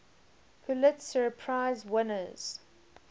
pulitzer prize winners